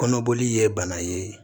Kɔnɔboli ye bana ye